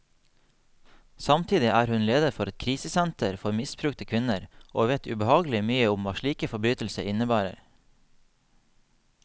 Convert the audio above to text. Samtidig er hun leder for et krisesenter for misbrukte kvinner, og vet ubehagelig mye om hva slike forbrytelser innebærer.